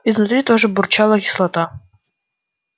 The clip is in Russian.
изнутри тоже бурчала кислота